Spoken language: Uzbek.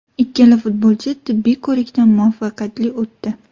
Ikkala futbolchi tibbiy ko‘rikdan muvaffaqiyatli o‘tdi.